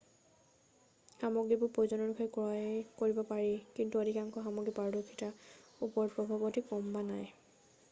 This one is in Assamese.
সামগ্ৰীবোৰ প্ৰয়োজন অনুসৰি ক্ৰয় কৰিব পাৰি কিন্তু অধিকাংশ সামগ্ৰীৰে পাৰদৰ্শিতাৰ ওপৰত প্ৰভাৱ অতি কম বা নাই